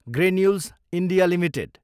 granules India Ltd